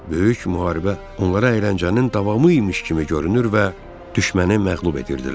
Böyük müharibə onlara əyləncənin davamı imiş kimi görünür və düşməni məğlub edirdilər.